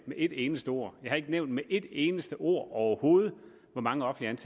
med et eneste ord har ikke nævnt med et eneste ord overhovedet hvor mange offentligt